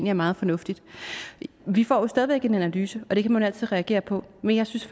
er meget fornuftigt vi får jo stadig væk en analyse og den kan man altid reagere på men jeg synes